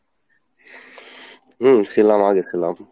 হম ছিলাম আগে ছিলাম।